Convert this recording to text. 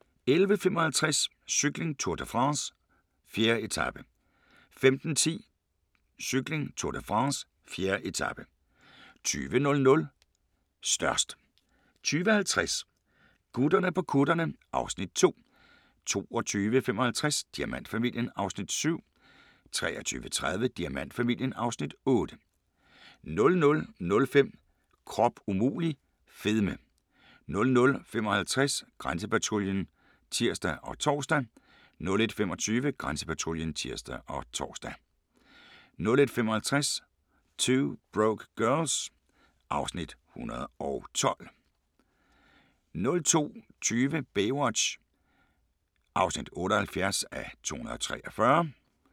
11:55: Cykling: Tour de France - 4. etape 15:10: Cykling: Tour de France - 4. etape 20:00: Størst 20:50: Gutterne på kutterne (Afs. 2) 22:55: Diamantfamilien (Afs. 7) 23:30: Diamantfamilien (Afs. 8) 00:05: Krop umulig - fedme 00:55: Grænsepatruljen (tir og tor) 01:25: Grænsepatruljen (tir og tor) 01:55: 2 Broke Girls (Afs. 112)